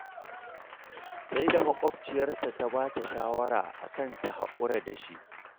Sai da ma ƙwabciyarta ta ba ta shawara a kan ta haƙura da shi